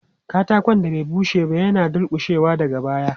Katakon da bai bushe ba yana dulƙushewa daga baya.